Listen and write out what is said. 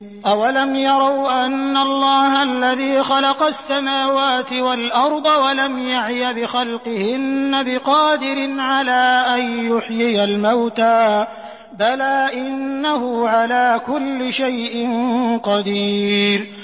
أَوَلَمْ يَرَوْا أَنَّ اللَّهَ الَّذِي خَلَقَ السَّمَاوَاتِ وَالْأَرْضَ وَلَمْ يَعْيَ بِخَلْقِهِنَّ بِقَادِرٍ عَلَىٰ أَن يُحْيِيَ الْمَوْتَىٰ ۚ بَلَىٰ إِنَّهُ عَلَىٰ كُلِّ شَيْءٍ قَدِيرٌ